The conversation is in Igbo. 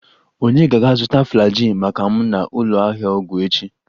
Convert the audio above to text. Ònye ga-aga zụta Flagyl maka m na ụlọ ahịa ọgwụ echi?